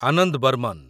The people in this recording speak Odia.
ଆନନ୍ଦ ବର୍ମନ୍